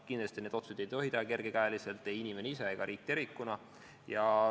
Kindlasti ei tohi neid otsuseid teha kergekäeliselt ei inimene ise ega riik tervikuna.